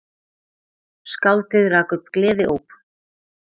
Skáldið rak upp gleðióp.